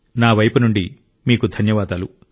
నా వైపు నుండి మీకు ధన్యవాదాలు